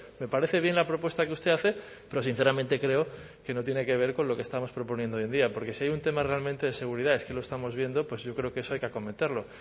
me parece bien la propuesta que usted hace pero sinceramente creo que no tiene que ver con lo que estamos proponiendo hoy en día porque si hay un tema realmente de seguridad es que lo estamos viendo pues yo creo que eso hay que acometerlo